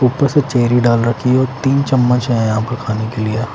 ऊपर से चेरी डाल रखी है और तीन चम्मच हैं यहां पर खाने के लिए।